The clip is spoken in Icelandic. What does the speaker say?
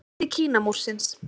Hluti Kínamúrsins.